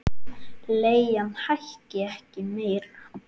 Leigan hækki ekki meira.